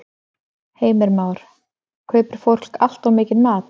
Heimir Már: Kaupir fólk allt of mikinn mat?